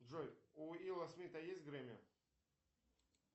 джой у уилла смита есть грэмми